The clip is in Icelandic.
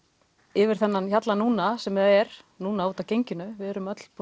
yfir þennan hjalla núna sem er núna út af genginu við